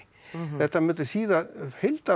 þetta myndi þýða